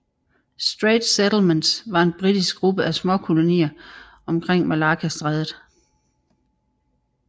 Straits Settlements var en britisk gruppe af småkolonier omkring Malaccastrædet